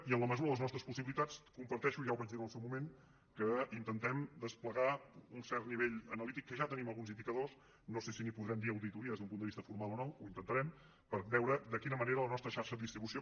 i en la mesura de les nostres possibilitats comparteixo ja ho vaig dir en el seu moment que intentem desplegar un cert nivell analític que ja tenim alguns indicadors no sé si en podrem dir auditories des d’un punt de vista formal o no ho intentarem per veure de quina manera la nostra xarxa de distribució